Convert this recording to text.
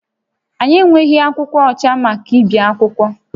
Anyị enweghị akwụkwọ ọcha maka ibi akwụkwọ